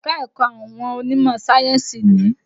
Ẹ̀ka-ẹ̀kọ́ àwọn onímọ̀ sáyénsì ni.